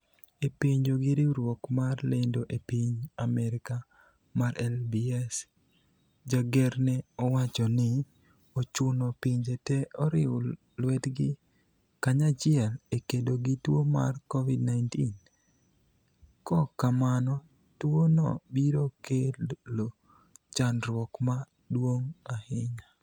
e penjo gi riwruok mar lendo e piny Amerika mar LBS , Jager ne owacho ni ochuno pinje te oriw lwetgi kanyachiel e kedo gi tuo mar covid-19, ko kamano tuo no biro kelo chandruok ma duong' ahinya